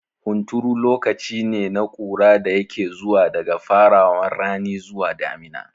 Hunturu lokacine na ƙura da yake zuwa daga farawan rani zuwa damina